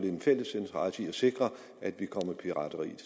en fælles interesse i at sikre at vi kommer pirateriet